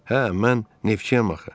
Hə, mən neftçiyəm axı.